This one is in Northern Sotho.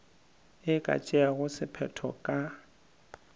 e ka tšeago sephetho ka